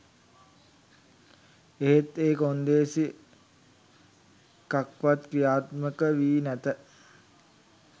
එහෙත් ඒ කොන්දේසි එකක්වත් ක්‍රියාත්මක වී නැත